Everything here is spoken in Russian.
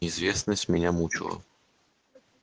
неизвестность меня мучила